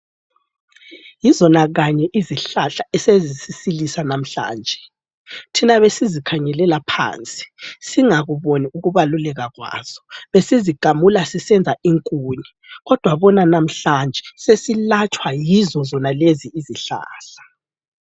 Yizona kanye izihlahla esezisisilisa lamhlanje. Thina besizikhangelela phansi singakuboni ukubaluleka kwazo. Besizigamula sisenza inkuni, kodwa bona lamhlanje! Sesilatshwa yizozonalezi izihlahla.